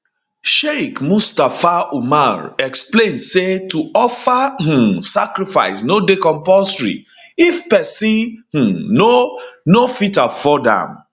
sheikh mustapha umar explain say to offer um sacrifice no dey compulsory if pesin um no no fit afford am